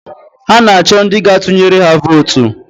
Ha na-achọ ndị gaa-tụnyere ha vootu